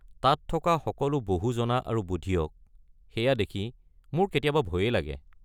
তাত থকা সকলো বহু জনা আৰু বুধিয়ক, সেইয়া দেখি মোৰ কেতিয়াবা ভয়েই লাগে।